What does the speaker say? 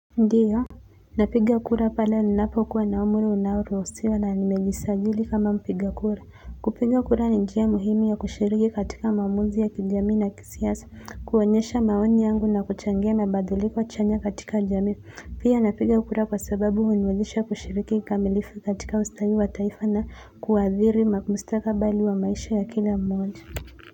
Ndiyo napiga kura pale ninapokuwa na umri unaoruhusiwa na nimejisajili kama mpiga kura kupiga kura ni njia muhimu ya kushiriki katika maamuzi ya kijamii na kisiasa kuonyesha maoni yangu na kuchangia mabadiliko chanya katika jamii pia napiga kura kwa sababu huniwezesha kushiriki kamilifu katika ustawi wa taifa na kuwaadhiri maku mustakabali wa maishi ya kila mmoja.